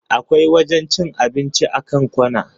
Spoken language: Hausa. Akwai wajen cin abinci a kan kwana.